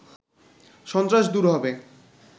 সন্ত্রাস দূর হবে